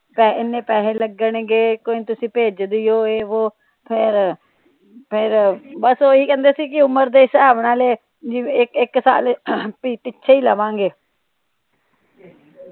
ਇੰਨੇ ਪੈਸੇ ਲੱਗਣ ਗੇ ਕੋਈ ਨਹੀਂ ਤੁਸੀ ਭੇਜਦਿਓ ਇਹ ਵੋ ਫਿਰ ਬਸ ਓਹੀ ਕਹਿੰਦੇ ਸੀ ਕੇ ਉਮਰ ਦੇ ਹਿਸਾਬ ਨਾਲ ਜਿਵੇ ਇਕ ਇਕ ਸਾਲ ਪਿੱਛੇ ਈ ਲਵਾਂਗੇ